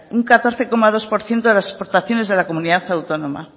un catorce coma dos por ciento de las exportaciones de la comunidad autónoma